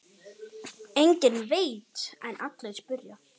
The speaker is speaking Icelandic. Enginn veit en allir spyrja.